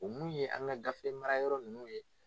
O mun ye an ka gafe mara yɔrɔ ninnu ye.